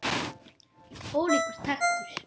Ólíkur taktur.